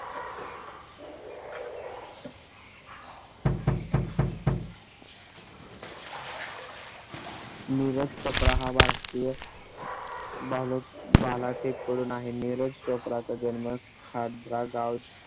नीरज चोप्रा हा भारतीय बालक भालाफेक करून आहे. नीरज चोप्रा चा जन्म खादरा गाँव